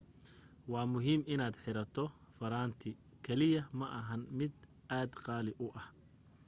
waa muhiim inaad xirato farantikaliya ma ahan mid aad qaali u ah